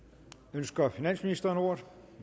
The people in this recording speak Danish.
ønsker finansministeren ordet